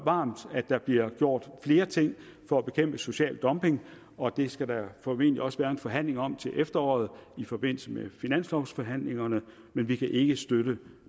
at der bliver gjort flere ting for at bekæmpe social dumping og det skal der formentlig også være en forhandling om til efteråret i forbindelse med finanslovsforhandlingerne men vi kan ikke støtte